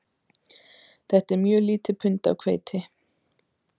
Þetta er mjög lítið pund af hveiti